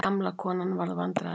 Gamla konan varð vandræðaleg.